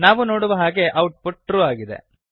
ನಾವು ನೋಡುವ ಹಾಗೆ ಔಟ್ ಪುಟ್ ಟ್ರೂ ಆಗಿದೆ